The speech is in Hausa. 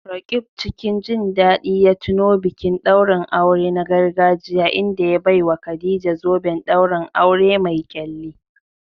Roqeeb cikin jin daɗi ya tuno bikin ɗaurin aure na gargajiya inda ya baiwa Khadija zoben ɗaurin aure mai ƙyalli.